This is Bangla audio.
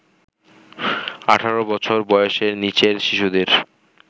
১৮ বছর বয়েসের নীচের শিশুদের